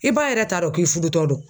I ba yɛrɛ t'a dɔn k'i fudutɔ don.